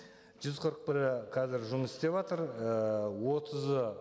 жүз қырық бірі қазір жұмыс істеватыр і отызы